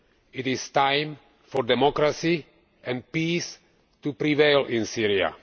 It is time for democracy and peace to prevail in Syria.